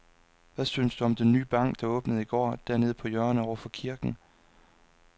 Hvad synes du om den nye bank, der åbnede i går dernede på hjørnet over for kirken?